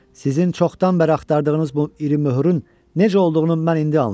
Sizin çoxdan bəri axtardığınız bu iri möhürün necə olduğunu mən indi anlayıram.